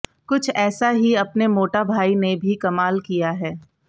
कुछ ऐसा ही अपने मोटा भाई ने भी कमाल किया है